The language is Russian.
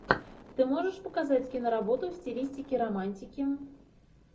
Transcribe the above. ты можешь показать киноработу в стилистике романтики